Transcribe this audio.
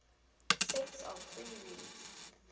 sets of free reeds